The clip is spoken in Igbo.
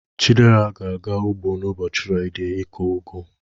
Chidera ga-aga ugbo n'ụbọchị Fraịde ikụ ugu.